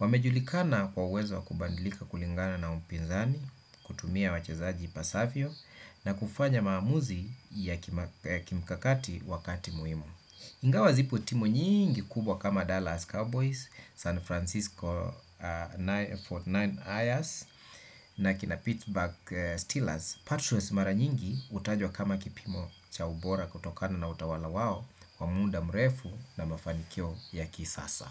wamejulikana kwa uwezo wa kubadilika kulingana na mpinzani kutumia wachezaji ipasavyo na kufanya maamuzi ya kimikakati wakati muhimu. Ingawa zipo timu nyingi kubwa kama Dallas Cowboys San Francisco arobaini na tisa ers na kina Pitsburg Steelers Patriots mara nyingi hutajwa kama kipimo cha ubora kutokana na utawala wao kwa muda mrefu na mafanikio ya kisasa.